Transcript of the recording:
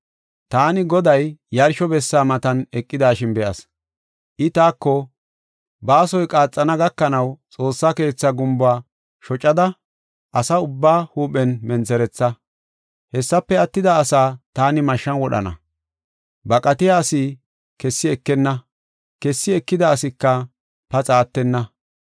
Taani Goday yarsho bessa matan eqidashin be7as. I taako, “Baasoy qaaxana gakanaw xoossa keetha gumbuwa shocada asa ubbaa huuphen mentheretha. Hessafe attida asaa taani mashshan wodhana. Baqatiya asi kessi ekenna; kessi ekida asika paxa attenna.